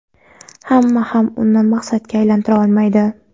hamma ham uni maqsadga aylantira olmaydi.